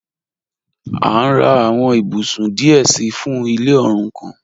A n rà àwọn ìbùsún díẹ̀ sí fún ilẹ̀ òrúkàn.